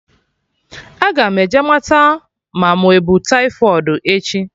Aga m eje mata ma mụ ebu taifọịdi echi